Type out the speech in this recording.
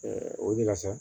o de la sa